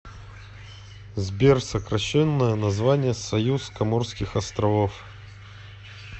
сбер сокращенное название союз коморских островов